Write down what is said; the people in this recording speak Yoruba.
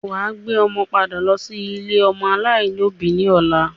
Wà á gbé ọmọ padà lọ́ sí ilé-ọmọ aláìní òbí ní ọ̀la.